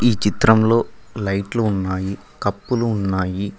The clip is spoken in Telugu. ఈ చిత్రంలో లైట్లు ఉన్నాయి కప్పులు ఉన్నాయి.